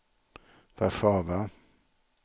Warszawa